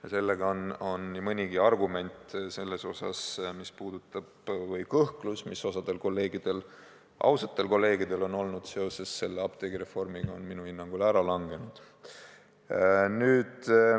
Ja sellega on nii mõnigi argument või kõhklus, mis osal ausatel kolleegidel on olnud seoses selle apteegireformiga, minu hinnangul ära langenud.